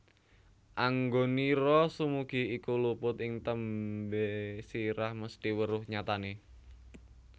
Anggonira sumugih iku luput ing tembe sira mesthi weruh nyatane